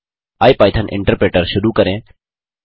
IPython interpreter शुरू करें